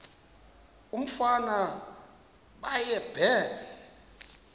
umfana baye bee